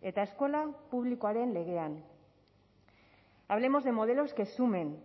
eta eskola publikoaren legean hablemos de modelos que sumen